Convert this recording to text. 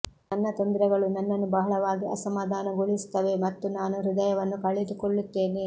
ನನ್ನ ತೊಂದರೆಗಳು ನನ್ನನ್ನು ಬಹಳವಾಗಿ ಅಸಮಾಧಾನಗೊಳಿಸುತ್ತವೆ ಮತ್ತು ನಾನು ಹೃದಯವನ್ನು ಕಳೆದುಕೊಳ್ಳುತ್ತೇನೆ